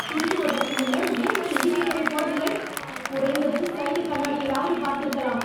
திரும்புவதற்கு முன்னர் ஏன் நீ இண்டிகேட்டரைப் போடவில்லை? குறைந்தது சைடு கண்ணாடியிலாவது பார்த்திருக்கலாம்.